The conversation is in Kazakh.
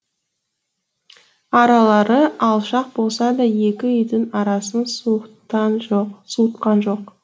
аралары алшақ болса да екі үйдің арасын суытқан жоқ